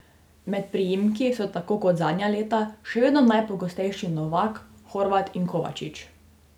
Med priimki so tako kot zadnja leta še vedno najpogostejši Novak, Horvat in Kovačič.